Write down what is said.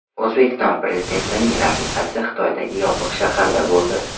O‘zbekiston Prezidentining rafiqasi Xitoydagi Yopiq shaharda bo‘ldi.